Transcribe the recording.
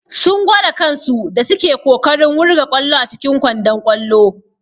Sun gwara kansu da suke kokarin wurga ƙwallo a cikin kwandon ƙwallo.